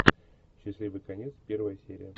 счастливый конец первая серия